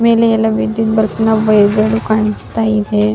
ಮೇಲೆ ಎಲ್ಲ ವಿದ್ಯುತ್ ಬಲ್ಪ್ ನ ಒಬ್ಬ ಇದ್ರಲ್ಲೂ ಕಾಣಿಸ್ತಾ ಇದೆ --